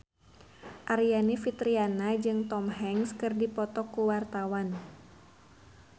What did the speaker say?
Aryani Fitriana jeung Tom Hanks keur dipoto ku wartawan